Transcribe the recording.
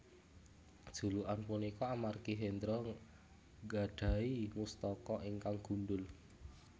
Julukan punika amargi Hendro nggadhahi mustaka ingkang gundhul